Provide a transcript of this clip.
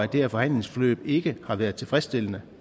det her forhandlingsforløb ikke har været tilfredsstillende